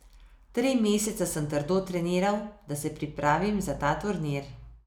Tri mesece sem trdo treniral, da se pripravim za ta turnir.